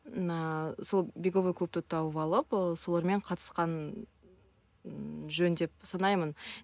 ыыы сол беговой клубты тауып алып ы солармен қатысқан ы жөн деп санаймын